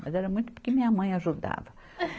Mas era muito porque minha mãe ajudava.